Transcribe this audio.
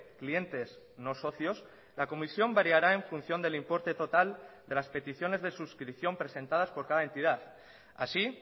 clientes no socios la comisión variará en función del importe total de las peticiones de suscripción presentadas por cada entidad así